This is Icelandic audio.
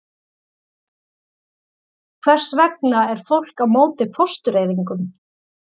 Hvers vegna er fólk á móti fóstureyðingum?